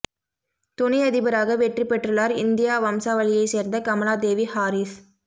துணை அதிபராக வெற்றி பெற்றுள்ளார் இந்தியா வம்சாவளியைச் சேர்ந்த கமலா தேவி ஹாரிஸ்